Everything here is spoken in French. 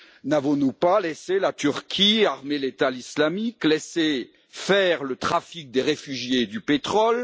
N'avons nous pas laissé la Turquie armer l'État islamique, laissé faire le trafic des réfugiés et du pétrole?